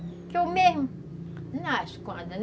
Porque eu mesmo nasço